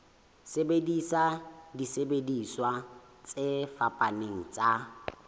sebedisa disebediswa tse fapaneng tsa